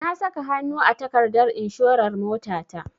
Na saka hanu a takardar inshorar motata.